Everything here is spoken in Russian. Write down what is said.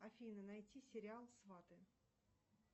афина найти сериал сваты